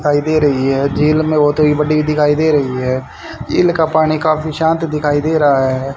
दिखाई दे रही है झील में बहोत ही बड़ी दिखाई दे रही है झील का पानी काफी शांत दिखाई दे रहा है।